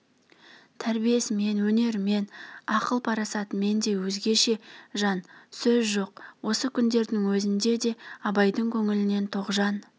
тәрбиесімен өнерімен ақыл парасатымен де өзгеше жан сөз жоқ осы күндердің өзінде де абайдың көңілінен тоғжан